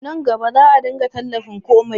Nan gaba za a dinga talifin komai